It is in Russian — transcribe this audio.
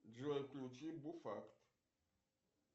джой включи буфакт